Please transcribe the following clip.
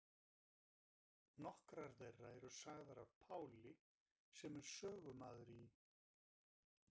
Nokkrar þeirra eru sagðar af Páli sem er sögumaður í